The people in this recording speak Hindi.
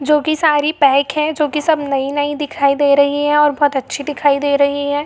जो कि सारी पैक है जो कि नई-नई दिखाई दे रही है और बहुत अच्छी दिखाई दे रही है।